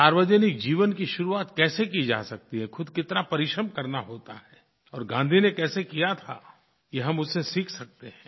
सार्वजनिक जीवन की शुरुआत कैसे की जा सकती है ख़ुद कितना परिश्रम करना होता है और गाँधी ने कैसे किया था यह हम उनसे सीख सकते हैं